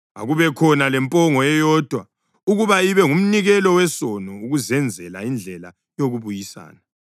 Akubekhona lempongo eyodwa ukuba ibe ngumnikelo wesono ukuzenzela indlela yokubuyisana.